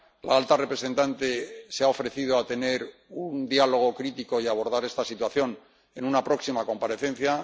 La alta representante se ha ofrecido a tener un diálogo crítico y a abordar esta situación en una próxima comparecencia.